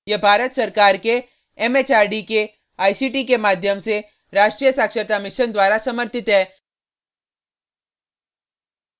यह भारत सरकार के एमएचआरडी के आईसीटी के माध्यम से राष्ट्रीय साक्षरता mission द्वारा समर्थित है